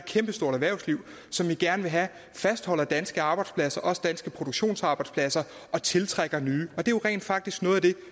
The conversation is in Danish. kæmpestort erhvervsliv som vi gerne vil have fastholder danske arbejdspladser også danske produktionsarbejdspladser og tiltrækker nye det er rent faktisk noget af det